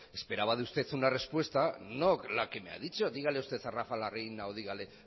esperaba de usted una respuesta no la que me ha dicho dígale a usted a rafa larreina o dígale